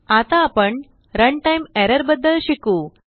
आता आपण runtime error बद्दल शिकू